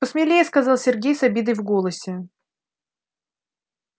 посмелее сказал сергей с обидой в голосе